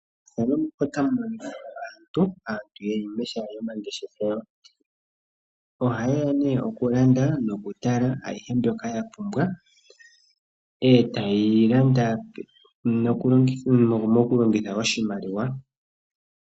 Aantu mehala lyomangeshefelo ohayeya ne oku landa noku tala ayihe mbyoka ya pumbwa eta yeyi landa moku longitha oshimaliwa.